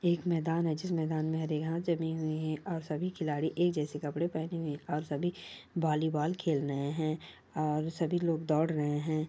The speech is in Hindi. एक मैदान है जिस मैदान में रिहां जमी हुई है और सभी खिलाडी एक जैसे कपडे पहने हुए है और सभी बॉलीबॉल खेल रहे है और सभी लोग दौड़ रहे है।